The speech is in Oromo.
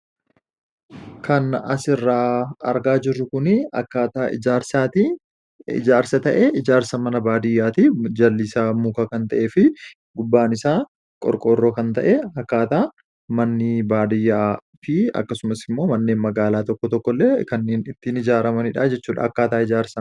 Kan asirraa argaa jirru kun akkaataaa ijaarsaati. Ijjarsa ta'ee ijaarsa mana beating. Jalli isaa muka kan ta’ee fi gubbaan isaa qorqoorroo kan ta’e akkaataa manneen baadiyyaa di akkasumas manneen magaalaa tokko tokkos ittiin ijaaramanidha jechuudha.